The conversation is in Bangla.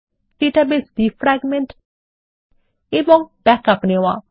ডাটাবেস ডিফ্র্যাগমেন্ট এবং ব্যাকআপ নেওয়া